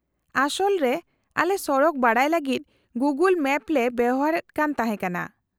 -ᱟᱥᱚᱞ ᱨᱮ ᱟᱞᱮ ᱥᱚᱲᱚᱠ ᱵᱟᱰᱟᱭ ᱞᱟᱹᱜᱤᱫ ᱜᱩᱜᱳᱞ ᱢᱮᱢ ᱞᱮ ᱵᱮᱣᱦᱟᱨ ᱮᱫ ᱠᱟᱱ ᱛᱟᱦᱮᱸ ᱠᱟᱱᱟ ᱾